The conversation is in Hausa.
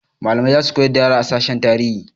Malamai za su koyar da yara a sashen tarihi.